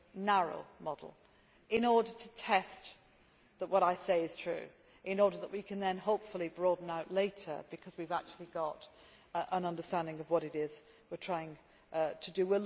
narrow model in order to test that what I say is true and in order that we can then hopefully broaden out later, because we have actually got an understanding of what it is we are trying to do.